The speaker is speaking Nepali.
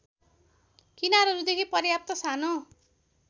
किनारहरूदेखि पर्याप्त सानो